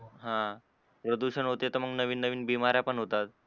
हा प्रदूषण होते त मग नवीन नवीन बिमाऱ्या पण होतात.